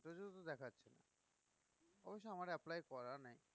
অবশ্য আমার apply করা নেই